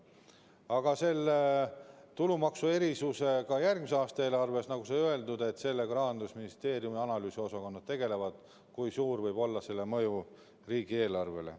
Aga selle tulumaksuerisusega järgmise aasta eelarves, nagu öeldud, Rahandusministeeriumi analüüsiosakonnad tegelevad ja arvutavad, kui suur võib olla selle mõju riigieelarvele.